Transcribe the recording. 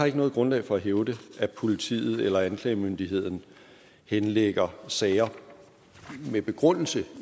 ikke noget grundlag for at hævde at politiet eller anklagemyndigheden henlægger sager med begrundelse